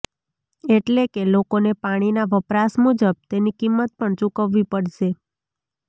એટલેકે લોકોને પાણીના વપરાશ મુજબ તેની કિંમત પણ ચુકવવી પડશે